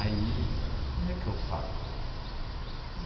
Aí, como é que eu falo?